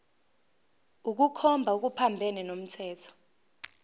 ukukhomba okuphambene nomthetho